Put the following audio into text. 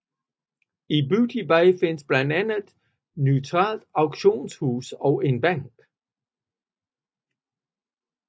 I Booty Bay findes blandt andet et neutralt auktionshus og en bank